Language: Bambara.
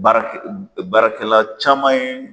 Baarakɛl baarakɛla caman ye